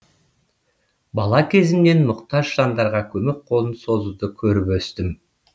бала кезімнен мұқтаж жандарға көмек қолын созуды көріп өстім